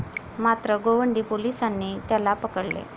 मात्र गोवंडी पोलिसांनी त्याला पकडले.